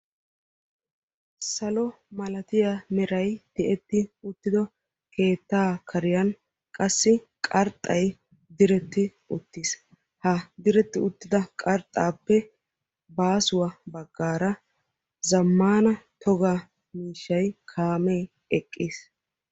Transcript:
Salo malatiya meray tiyeti uttiddo keettaa kariyan qassi qarxxay diretti uttiis. Ha diretti uttida qarxxaappe baasuwa baggaara zammaana toga miishshaay kaamee eqqiis.